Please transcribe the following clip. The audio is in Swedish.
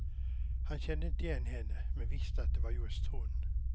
Han kände inte igen henne men visste att det var just hon.